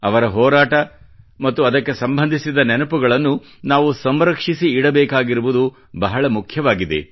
ಅವರ ಹೋರಾಟ ಮತ್ತು ಅದಕ್ಕೆ ಸಂಬಂಧಿಸಿದ ನೆನಪುಗಳನ್ನು ನಾವು ಸಂರಕ್ಷಿಸಿ ಇಡಬೇಕಾಗಿರುವುದು ಬಹಳ ಮುಖ್ಯವಾಗಿದೆ